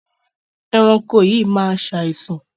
Ẹranko yìí máa ṣàìsàn.